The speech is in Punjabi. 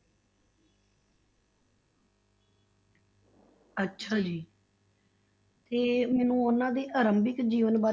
ਅੱਛਾ ਜੀ ਤੇ ਮੈਨੂੰ ਉਹਨਾਂ ਦੇ ਆਰੰਭਿਕ ਜੀਵਨ ਬਾਰੇ,